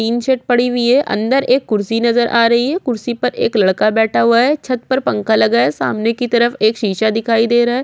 Tin shed पड़ी हुई है अन्दर एक कुर्सी नज़र आ रही है कुर्सी पर एक लड़का बैठा है छत पर पंखा लगा है सामने की तरफ एक शीशा दिखाई दे रहा है।